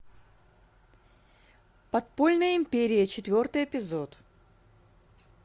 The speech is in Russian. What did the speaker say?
подпольная империя четвертый эпизод